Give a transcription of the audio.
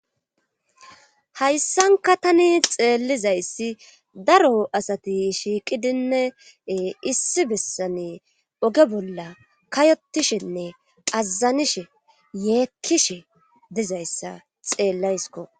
hayssanka tani xeelizayssi daro asati shiiqidinne ee issi bessani oge bollani kayottishenne azanishe yeekkishe dizayssa xeellayskko.